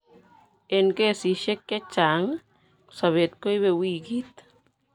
Eng' kesisiek chechang' sobeet koibe wikit